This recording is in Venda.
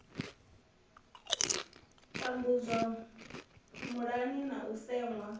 tambudzwa muyani na u seṅwa